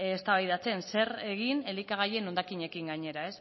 eztabaidatzen zer egin elikagaien hondakinekin gainera